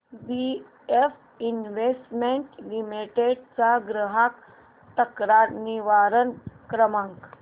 BF investment limited चा ग्राहक तक्रार निवारण क्रमांक